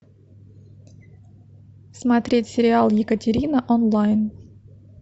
смотреть сериал екатерина онлайн